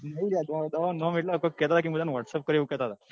દવા નું નામ એટલે એ મને કોક કેટ હતા કે મુ તને whatsapp કર્યો એવું કેતા હતા.